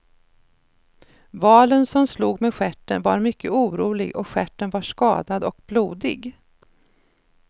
Valen som slog med stjärten var mycket orolig och stjärten var skadad och blodig.